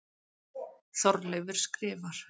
Þorleifur skrifar: